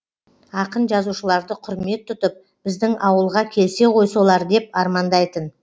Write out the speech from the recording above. ақын жазушыларды құрмет тұтып біздің ауылға келсе ғой солар деп армандайтын